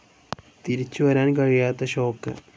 തിരിച്ചു വരാൻ കഴിയാത്ത ഷോക്ക്.